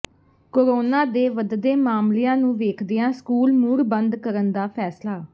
corona ਦੇ ਵਧਦੇ ਮਾਮਲਿਆਂ ਨੂੰ ਵੇਖਦਿਆਂ ਸਕੂਲ ਮੁੜ ਬੰਦ ਕਰਨ ਦਾ ਫ਼ੈਸਲਾ